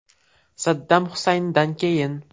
Saddam Husayndan keyin.